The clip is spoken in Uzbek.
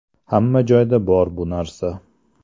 Hamma joyda bor bu narsa.